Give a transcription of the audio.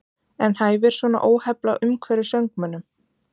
En hæfir svona óheflað umhverfi söngmönnum?